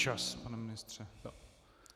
Čas, pane ministře.